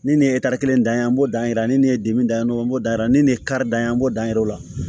Ni nin ye kelen dan ye an b'o dan yira ni nin ye dimi da mɔgɔ n'o dan ye ni nin karida ye an b'o dan o la